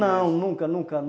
Não, nunca, nunca.